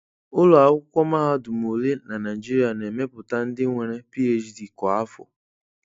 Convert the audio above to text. Ụlọ akwụkwọ mahadum ole na Naịjirịa na emeputa ndị nwere PhD kwa afọ?